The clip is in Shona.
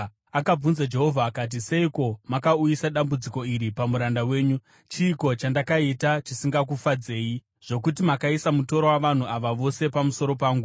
Akabvunza Jehovha akati, “Seiko makauyisa dambudziko iri pamuranda wenyu? Chiiko chandakaita chisingakufadzei zvokuti makaisa mutoro wavanhu ava vose pamusoro pangu?